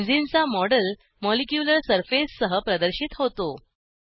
benzene चा model molecular surface सह प्रदर्शित होतो